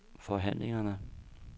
forhandlingerne